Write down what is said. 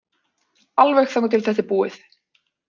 Alveg þangað til að þetta er búið.